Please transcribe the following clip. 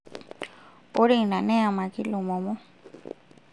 ore ina neyemaki Lemomo